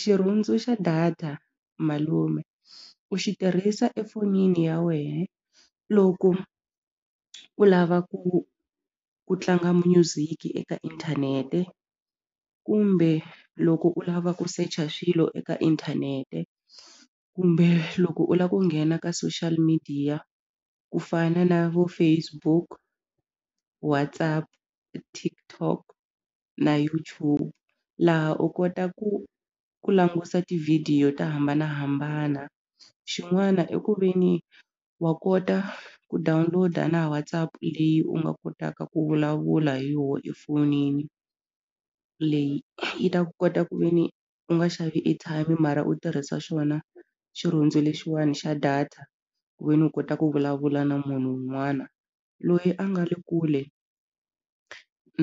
Xirhundzu xa data malume u xi tirhisa efonini ya wehe loko u lava ku ku tlanga music eka inthanete kumbe loko u lava ku secha swilo eka inthanete kumbe loko u la ku nghena ka social media ku fana na vo Facebook WhatsApp TikTok na YouTube laha u kota ku ku langusa tivhidiyo to hambanahambana xin'wana i ku veni wa kota ku download-a na WhatsApp leyi u nga kotaka ku vulavula hi yoho efonini leyi yi ta kota ku ve ni u nga xavi airtime mara u tirhisa xona xirhundzu lexiwani xa data ku ve ni u kota ku vulavula na munhu wun'wana loyi a nga le kule